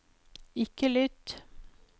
ikke lytt